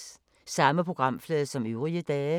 Samme programflade som øvrige dage